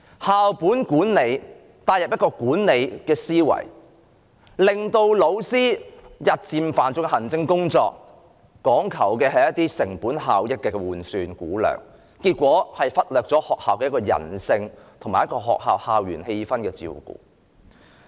校本管理引入一個管理的思維，日漸加重老師的行政工作，講求成本效益的換算估量，結果卻忽略了學校人性及校園氣氛的照顧。